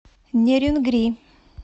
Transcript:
нерюнгри